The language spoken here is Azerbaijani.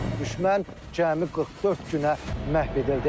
Düşmən cəmi 44 günə məhv edildi.